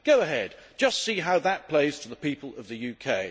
Go ahead just see how that plays to the people of the UK.